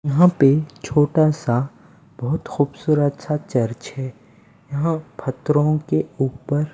यहाँ पे छोटा सा बहुत खूबसूरत सा चर्च हैं यहाँ फत्तरो के ऊपर--